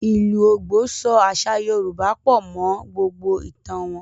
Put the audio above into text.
Ìlù Ògbò, so àṣà Yorùbá pọ̀ mọ́ gbògbò ìtàn wọn.